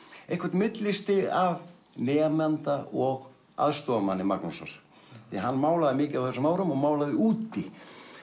eitthvert millistig af nemanda og aðstoðarmanni Magnúsar því hann málaði mikið á þessum árum og málaði úti